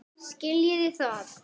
Skiljiði það?